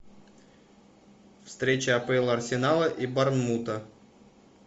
встреча апл арсенала и борнмута